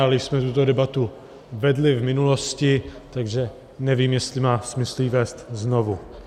Ale již jsme tuto debatu vedli v minulosti, takže nevím, jestli má smysl ji vést znovu.